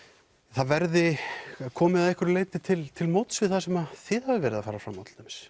það verði komið að einhverju leyti til til móts við það sem þið hafið verið að fara fram á til dæmis